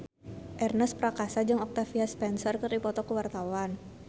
Ernest Prakasa jeung Octavia Spencer keur dipoto ku wartawan